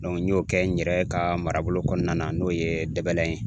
n y'o kɛ n yɛrɛ ka marabolo kɔnɔna na n'o ye Dɛbɛlɛye